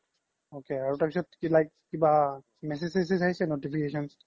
ok তাৰ পিছ্ত কি like কিবা message চেচেজ আহিছে কিবা notification